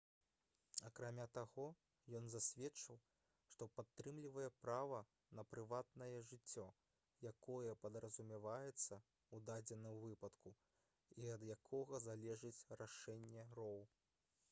акрамя таго ён засведчыў што падтрымлівае права на прыватнае жыццё якое падразумяваецца ў дадзеным выпадку і ад якога залежыць рашэнне роу